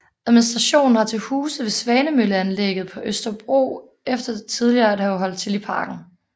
Administrationen har til huse ved Svanemølleanlægget på Østerbro efter tidligere at have holdt til i Parken